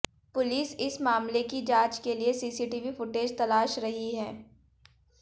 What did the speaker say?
police इस मामले की जांच के लिए सीसीटीवी फुटेज तलाश रही है